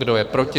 Kdo je proti?